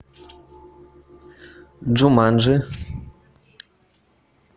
джуманджи